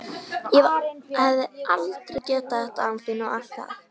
Ég hefði aldrei getað þetta án þín og allt það.